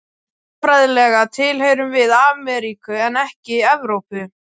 Landfræðilega tilheyrum við Amríku en ekki Evrópu.